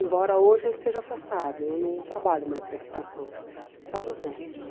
Embora hoje eu esteja afastada, eu não trabalho mais em educação, só dos netos.